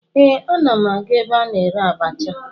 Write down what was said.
Ee, ana m aga ebe a na-ere abacha